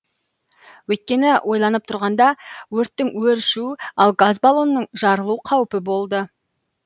өйткені ойланып тұрғанда өрттің өршу ал газ баллонның жарылу қаупі болды